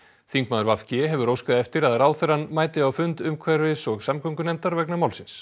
þingmaður v g hefur óskað eftir að ráðherrann mæti á fund umhverfis og samgöngunefndar vegna málsins